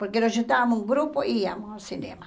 Porque nós juntávamos um grupo e íamos ao cinema.